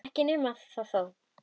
Ekki nema það þó!